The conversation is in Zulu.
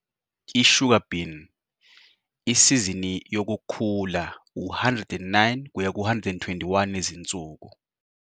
i-Sugar bean- isizini yokukhula u-109-121 izinsuku.